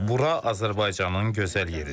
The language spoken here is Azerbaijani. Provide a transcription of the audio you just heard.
Bura Azərbaycanın gözəl yeridir.